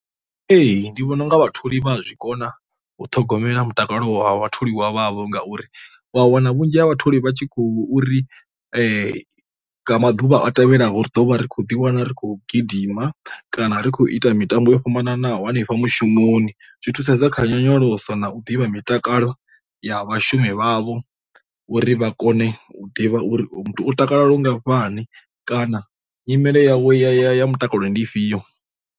Ee ndi vhona unga vhatholi vha a zwi kona u ṱhogomela mutakalo wa vhatholiwa wavho ngauri wa wana vhunzhi ha vhatholi vha tshi khou uri maḓuvha a tevhelaho ri ḓo vha ri khou ḓi wana ri khou gidima, kana ri khou ita mitambo yo fhambananaho hanefha mushumoni. Zwi thusedza kha nyonyoloso na u ḓivha mitakalo ya vhashumi vhavho uri vha kone u ḓivha uri muthu u takalela lu ngafhani kana nyimele yavho ya ya mutakalo ndi ifhio.